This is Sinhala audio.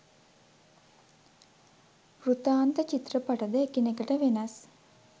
වෘතාන්ත චිත්‍රපට ද එකිනෙකට වෙනස්